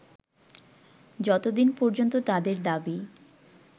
যতদিন পর্যন্ত তাদের দাবি